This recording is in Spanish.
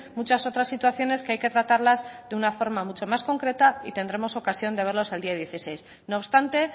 muchas otras situaciones que hay que tratarlas de una forma mucho más concreta y tendremos ocasión de verlos el día dieciséis no obstante